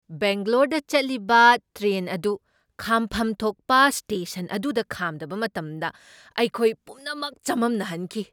ꯕꯦꯡꯒꯂꯣꯔꯗ ꯆꯠꯂꯤꯕ ꯇ꯭ꯔꯦꯟ ꯑꯗꯨ ꯈꯥꯝꯐꯝ ꯊꯣꯛꯄ ꯁ꯭ꯇꯦꯁꯟ ꯑꯗꯨꯗ ꯈꯥꯝꯗꯕ ꯃꯇꯝꯗ ꯑꯩꯈꯣꯏ ꯄꯨꯝꯅꯃꯛ ꯆꯝꯃꯝꯅꯍꯟꯈꯤ ꯫